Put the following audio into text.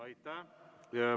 Aitäh!